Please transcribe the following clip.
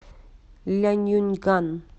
ляньюньган